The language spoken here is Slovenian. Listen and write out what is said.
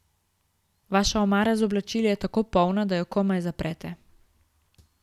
Vaša omara z oblačili je tako polna, da jo komaj zaprete.